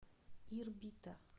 ирбита